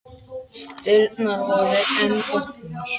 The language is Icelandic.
Dyrnar voru enn opnar.